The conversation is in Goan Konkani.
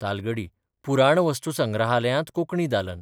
तालगडी पुराणवस्तुसंग्रहालयांत 'कोंकणी दालन '